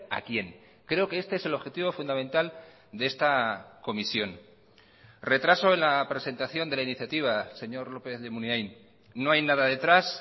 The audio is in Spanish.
a quién creo que este es el objetivo fundamental de esta comisión retraso en la presentación de la iniciativa señor lópez de munain no hay nada detrás